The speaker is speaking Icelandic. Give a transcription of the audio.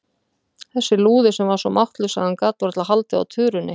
Þessi lúði sem var svo máttlaus að hann gat varla haldið á tuðrunni!